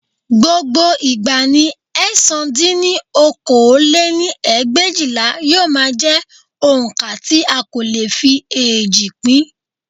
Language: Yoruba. Gbogbo ìgbà ni ẹ̀sán dín ní okòó lé-ní ẹgbẹ̀éjìlá yóò máa jẹ́ oǹkà tí a kò lè fi eéjì pín